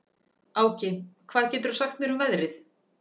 Áki, hvað geturðu sagt mér um veðrið?